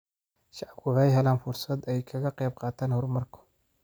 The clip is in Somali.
Shacabku waxay helaan fursad ay kaga qayb qaataan horumarka.